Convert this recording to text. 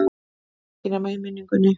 Ekki nema í minningunni.